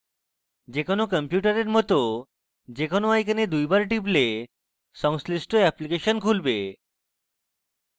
যে কোনো কম্পিউটারের মত যে কোনো icon দুইবার টিপলে সংশ্লিষ্ট এপ্লিকেশন খুলবে